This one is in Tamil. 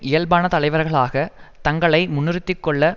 இயல்பான தலைவர்களாக தங்களை முன்னிறுத்திக்கொள்ள